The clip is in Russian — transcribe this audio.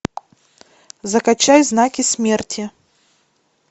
закачай знаки смерти